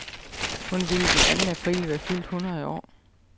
Hun ville den anden april være fyldt hundrede år.